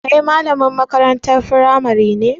Kai malamin makarantar firamari ne?